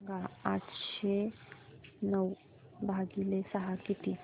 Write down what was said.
सांगा आठशे नऊ भागीले सहा किती